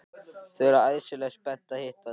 Þau eru æðislega spennt að hitta þig.